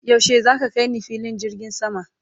yaushe zaka kaini filin jirgin sama?